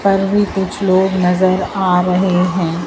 पर भी कुछ लोग नजर आ रहे हैं।